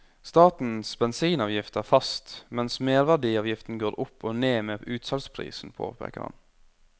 Statens bensinavgift er fast, mens merverdiavgiften går opp og ned med utsalgsprisen, påpeker han.